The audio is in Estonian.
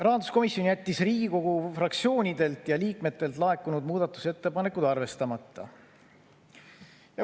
Rahanduskomisjon jättis Riigikogu fraktsioonidelt ja liikmetelt laekunud muudatusettepanekud arvestamata.